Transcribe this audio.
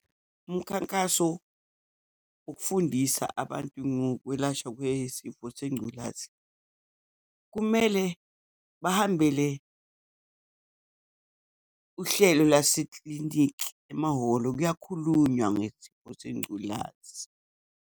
Umkhankaso ukufundisa abantu ngokwelashwa kwesifo sengculazi. Kumele bahambele uhlelo laseklinikhi, emahholo kuyakhulunywa ngesifo sengculazi.